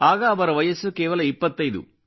ಆಗ ಅವರ ವಯಸ್ಸು ಕೇವಲ 25